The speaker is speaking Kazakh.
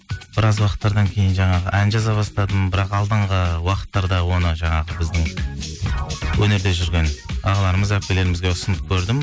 біраз уақыттардан кейін жаңағы ән жаза бастадым бірақ алдыңғы уақыттарда оны жаңағы біздің өнерде жүрген ағаларымыз әпкелерімізге ұсынып көрдім